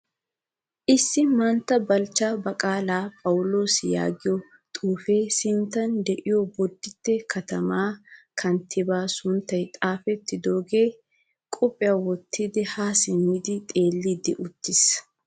Issi mantta balchcha baqala phawulosa yaagiyaa xuufe sinttan de'iyo bodite katama kanttiba sunttay xaafettidoge kopiya wottidi ha simmidi xeellidi uttiis.